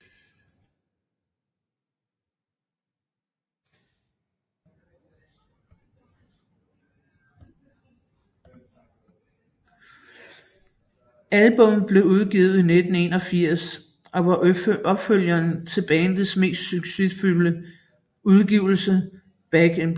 Albummet blev udgivet i 1981 og var opfølgeren til bandets mest succesfulde udgivelse Back in Black